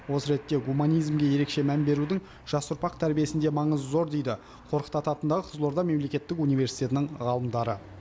осы ретте гуманизмге ерекше мән берудің жас ұрпақ тәрбиесінде маңызы зор дейді қорқыт ата атындағы қызылорда мемлекеттік университетінің ғалымдары